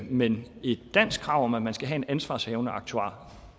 men et dansk krav om at man skal have en ansvarshavende aktuar